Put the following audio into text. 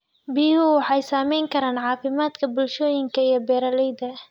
Biyuhu waxay saamayn karaan caafimaadka bulshooyinka iyo beeralayda.